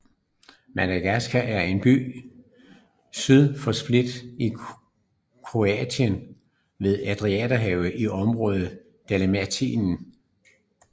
Makarska er en by syd for Split i Kroatien ved Adriaterhavet i området Dalmatien